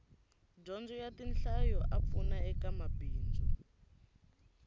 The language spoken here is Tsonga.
dyondzo ya tinhlayo a pfuna eka mabindzu